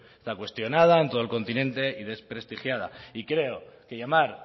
está cuestionada en todo el continente y desprestigiada y creo que llamar